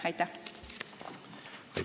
Aitäh!